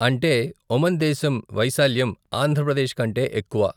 అంటే ఒమన్ దేశం వైశాల్యం ఆంధ్ర ప్రదేశ్ కంటే ఎక్కువ.